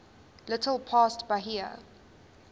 little past bahia